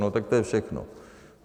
No tak to je všechno.